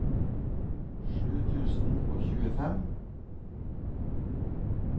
sju tusen og tjuefem